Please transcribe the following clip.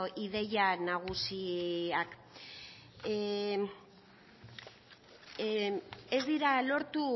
ideia nagusiak ez direla lortu